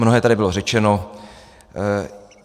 Mnohé tady bylo řečeno.